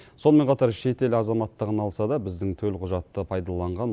сонымен қатар шетел азаматтығын алса да біздің төлқұжатты пайдаланған